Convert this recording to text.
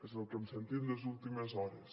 és el que hem sentit les últimes hores